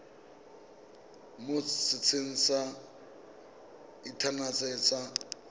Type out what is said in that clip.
mo setsheng sa inthanete sa